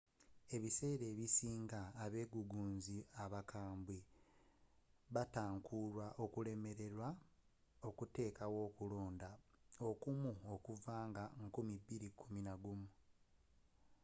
ebiseera ebisinga – abegugunzi abakambwe batankuulwa okulemerwa okuteekawo okulonda okumu okuva nga 2011